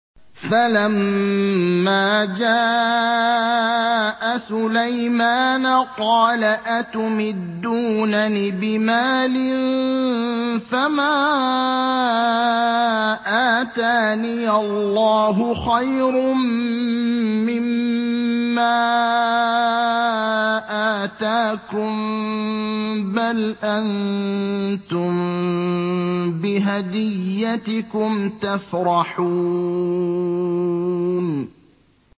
فَلَمَّا جَاءَ سُلَيْمَانَ قَالَ أَتُمِدُّونَنِ بِمَالٍ فَمَا آتَانِيَ اللَّهُ خَيْرٌ مِّمَّا آتَاكُم بَلْ أَنتُم بِهَدِيَّتِكُمْ تَفْرَحُونَ